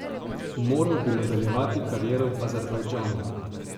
Moral bi nadaljevati kariero v Azerbajdžanu.